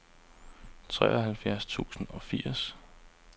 treoghalvfjerds tusind og firs